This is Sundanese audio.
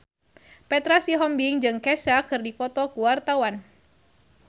Petra Sihombing jeung Kesha keur dipoto ku wartawan